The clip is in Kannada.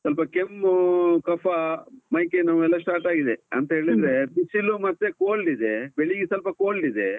ಸ್ವಲ್ಪ ಕೆಮ್ಮು, ಕಫಾ, ಮೈ ಕೈ ನೋವ್ ಎಲ್ಲ start ಆಗಿದೆ. ಅಂತೇಳಿದ್ರೆ, ಬಿಸಿಲು ಮತ್ತೆ cold ಇದೆ, ಬೆಳ್ಳಿಗೆ ಸ್ವಲ್ಪ cold ಇದೆ.